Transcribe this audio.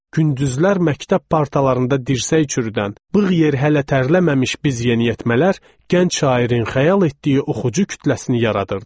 Gündüzlər məktəb partalarında dirsək çürüdən, bığ yer hələ tərləməmiş biz yeniyetmələr, gənc şairin xəyal etdiyi oxucu kütləsini yaradırdıq.